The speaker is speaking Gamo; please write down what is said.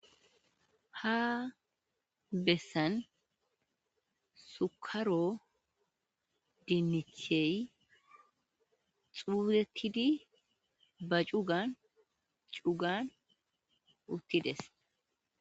ha bessan sukaro dinnichey xuurettidi ba cugan cugan uttides